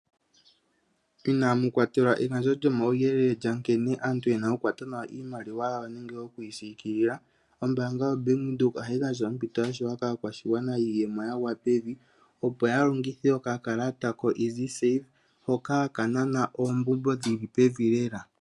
Inamukwatelwa egandjo lyomauyelele lyankene aantu nkene yena okukwata nawa iimaliwa yawo nenge nkene yena okuyi siikilila. Ombanga yaVenduka ohayi gandja ompito yashewa kaakwashigwana yiiyemo yagwa pevi opo yalongithe okakalata hoka hakanana oombumbo dhili pevi.